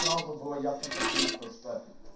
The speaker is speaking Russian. сразу было ясно как день то что